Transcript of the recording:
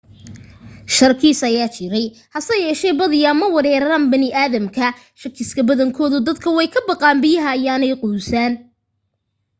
sharkis ayaa jiray haseyeeshee badiyaa ma weeraraan bani aadamka.shakiska badankoodu dadka way ka baqaan biyaha ayaanay quusaan